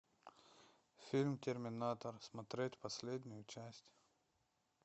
фильм терминатор смотреть последнюю часть